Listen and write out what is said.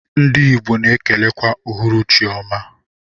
Ndi igbo na ekelekwa uhuruchi ọma.